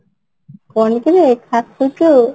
କଣ କିରେ ଖାସୁଛୁ